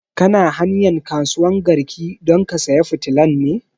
Kana hanyan kasuwan garki don ka saya fitilan ne?